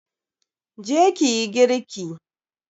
Je ki yi girki!